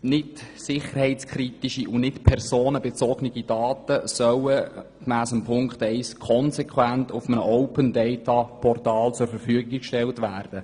Nicht sicherheitskritische und nicht personenbezogene Daten sollen gemäss Ziffer 1 konsequent auf einem Open-Data-Portal zur Verfügung gestellt werden.